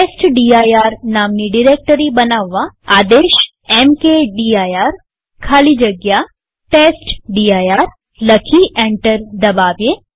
testdir નામની directory બનાવવાઆદેશ mkdir ખાલી જગ્યા ટેસ્ટડિર લખી એન્ટર દબાવીએ